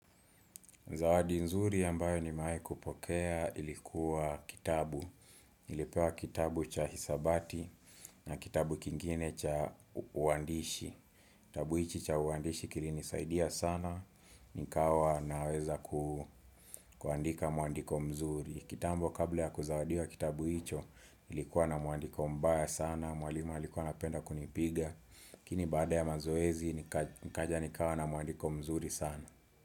Zawadi nzuri ambayo nimewaikupokea ilikuwa kitabu. Nilipewa kitabu cha hisabati na kitabu kingine cha uandishi. Kitabu hichi cha uandishi kilinisaidia sana, nikawa naweza kuandika muandiko mzuri. Kitambo kabla ya kuzawadiwa kitabu hicho nilikuwa na muandiko mbaya sana, mwalima alikuwa anapenda kunipiga. Lakini baada ya mazoezi, nikaja nikawa na mwandiko mzuri sana.